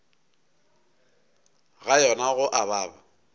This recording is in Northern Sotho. ga yona go a baba